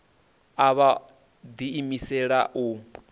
a vha o ḓiimisela u